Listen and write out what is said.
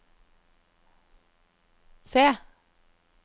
C